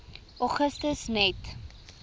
augustus net